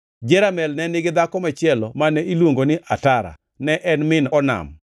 Jeramel ne nigi dhako machielo mane iluongo ni Atara, ne en min Onam.